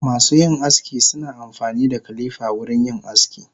Masuyin aski suna amfanida kilifa wurin yin aski.